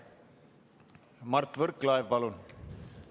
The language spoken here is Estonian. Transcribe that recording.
Mart Võrklaev, palun!